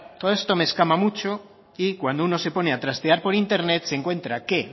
todo eso me escama mucho y cuando uno se pone a trastear por internet se encuentra que